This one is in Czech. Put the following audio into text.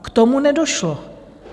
K tomu nedošlo.